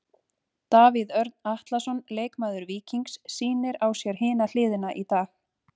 Davíð Örn Atlason, leikmaður Víkings sýnir á sér hina hliðina í dag.